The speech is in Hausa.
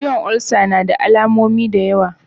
Ciwon olsa nada alamomi da yawa.